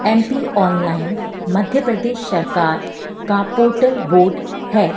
M P online Madhya Pradesh सरकार का portal board है।